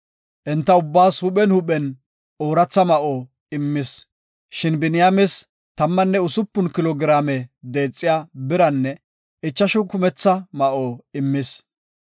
Enta ubbaas huuphen huuphen ooratha ma7o immis. Shin Biniyaames tammanne usupun kilo giraame deexiya biranne ichashu kumetha ma7o immis.